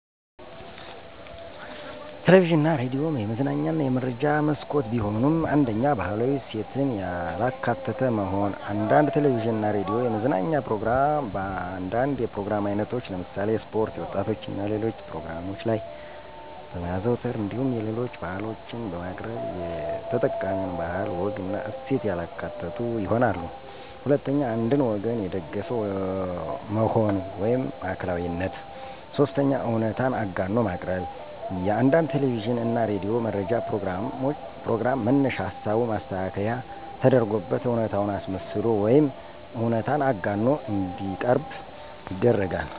ቴሌቪዥን እና ሬዲዮ የመዝናኛ እና የመረጃ መስኮት ቢሆኑም፤ 1ኛ, ባህላዊ እሴትን ያላካተተ መሆን፦ አንዳንድ ቴለቪዥን እና ሬዲዮ የመዝናኛ ፕሮግራም በአንዳንድ የፕሮግራም አይነቶች ለምሳሌ ስፖርት፣ የወጣቶች እና ሌሎች ፕሮግራሞች ላይ በማዘውተር እንዲሁም የሌሎች ባህሎችን በማቅረብ የተጠቃሚውን ባህል፣ ወግና እሴት ያላካተቱ ይሆናሉ። 2ኛ, አንድን ወገን የደገፈ መሆን (ማዕከላዊነት)፦ 3ኛ, እውነታን አጋኖ ማቅረብ፦ የአንዳንድ ቴለቪዥን እና ሬዲዮ መረጃ ፕሮግራም መነሻ ሀሳቡ ማስተካከያ ተደርጎበት እውነታን አስመስሎ ወይም እውነታን አጋኖ እንዲቀርብ ይደረጋል።